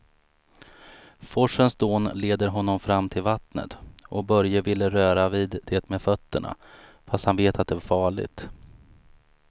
Forsens dån leder honom fram till vattnet och Börje vill röra vid det med fötterna, fast han vet att det är farligt.